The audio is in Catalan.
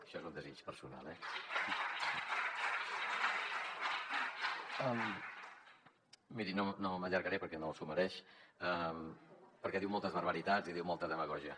això és un desig personal eh miri no m’allargaré perquè no s’ho mereix perquè diu moltes barbaritats i diu molta demagògia